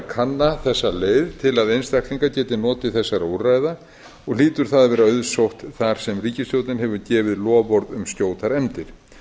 þessa leið til að einstaklingar geti notið þessara úrræða og hlýtur það að vera auðsótt þar sem ríkisstjórnin hefur gefið loforð um skjótar efndir